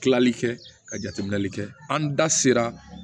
Tilali kɛ ka jateminɛli kɛ an da sera